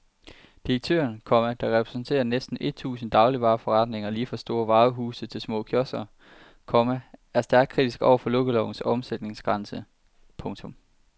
Direktøren, komma der repræsenterer næsten et tusind dagligvareforretninger lige fra store varehuse til små kiosker, komma er stærkt kritisk over for lukkelovens omsætningsgrænse. punktum